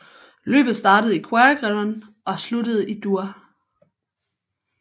Løbet startede i Quaregnon og sluttede i Dour